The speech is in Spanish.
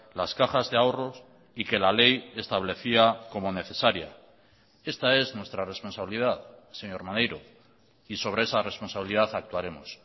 las cajas de ahorros y que la ley establecía como necesaria esta es nuestra responsabilidad señor maneiro y sobre esa responsabilidad actuaremos